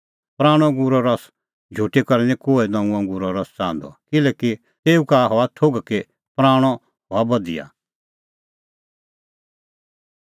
पराणअ अंगूरो रस झुटी करै निं कोहै नऊंअ अंगूरो रस च़ाहंदअ किल्हैकि तेऊ का हआ थोघ कि पराणअ हआ बधिया